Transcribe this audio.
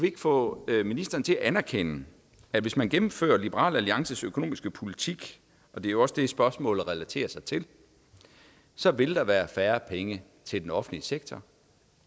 ikke få ministeren til at anerkende at hvis man gennemfører liberal alliances økonomiske politik og det er jo også det spørgsmålet relaterer sig til så vil der være færre penge til den offentlige sektor